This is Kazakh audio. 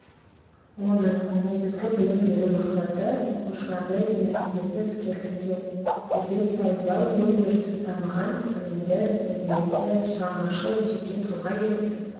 оның негізгі білім беру мақсаты оқушыларды еңбектегі іскерлікке дербес дайындау ой-өрісі дамыған білімді мәдениетті шығармашыл жеке тұлға етіп